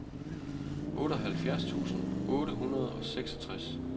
otteoghalvfjerds tusind otte hundrede og seksogtres